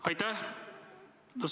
Aitäh!